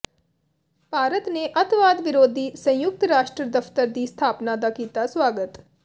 ਭਾਰਤ ਨੇ ਅੱਤਵਾਦ ਵਿਰੋਧੀ ਸੰਯੁਕਤ ਰਾਸ਼ਟਰ ਦਫਤਰ ਦੀ ਸਥਾਪਨਾ ਦਾ ਕੀਤਾ ਸਵਾਗਤ